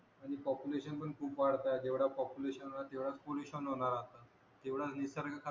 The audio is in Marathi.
आणि पापुलेशन खूप वाढत आहे जेवढ पापुलेशन वाढणार तेवढाच पोलुशन होणार आता